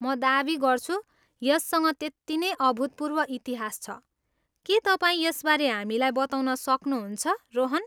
म दावी गर्छु, यससँग त्यति नै अभूतपूर्व इतिहास छ, के तपाईँ यसबारे हामीलाई बताउन सक्नुहुन्छ, रोहन?